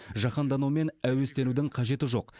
жаһанданумен әуестенудің қажеті жоқ